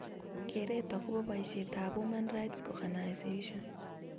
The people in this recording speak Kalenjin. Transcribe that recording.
Kereet akobo boisietab women rights organisation